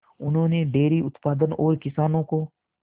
उन्होंने डेयरी उत्पादन और किसानों को